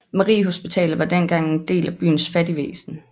Mariehospitalet var dengang en del af byens fattigvæsen